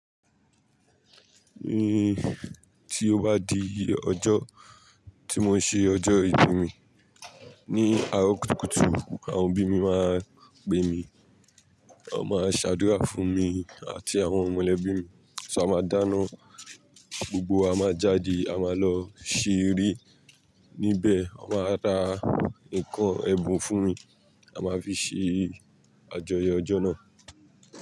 Ti ó bá di ọjọ́ tí mo ṣe ọjọ́ ìbí mi, ní àárọ̀ kùtùkùtù àwọn òbí mi máa pe mi, wọ́n máa ṣàdúrà fún mi àti àwọn ọmọlẹbí mi. Só, a máa dáná gbogbo wa máa jáde, a máa lọ ṣeré níbẹ̀ a máa ra nǹkan ẹbun fún mi, a máa fi ṣe àjọyọ̀ ọjọ́ náà.